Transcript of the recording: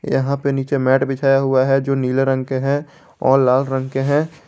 यहां पे नीचे मैट बिछाया हुआ है जो नीले रंग के हैं और लाल रंग के हैं।